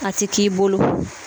A ti k'i bolo